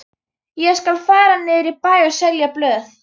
Ég skal fara niður í bæ og selja blöð.